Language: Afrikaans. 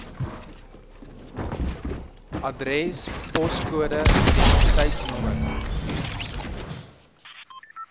adres poskode identiteitsnommer